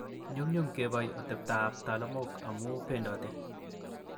Nyumnyum kepoi oteptaab ptalamook amun pendote